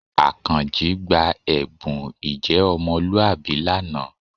Àkànjí gba ẹ̀bùn ìjẹ́ ọmọlúwàbí lánàá